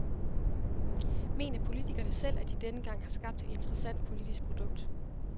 Mener politikerne selv, at de denne gang har skabt et interessant politisk produkt?